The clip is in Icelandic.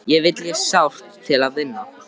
Þig vil ég sárt til vinna.